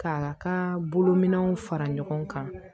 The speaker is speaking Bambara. Ka ka bolominɛnw fara ɲɔgɔn kan